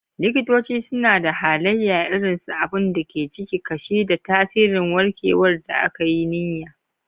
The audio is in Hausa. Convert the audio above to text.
Likitoci suna da halaye irin su abun da ke ciki, kashi, da tasirin warkewar da aka yi niyya.